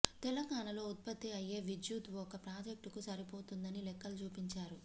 తెలంగాణలో ఉత్పత్తి అయ్యే విద్యుత్ ఒక్క ప్రాజెక్టుకు సరిపోతుందని లెక్కలు చూపించారు